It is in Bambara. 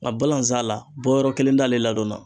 Nga balanzan la bɔyɔrɔ kelen t'ale ladɔn na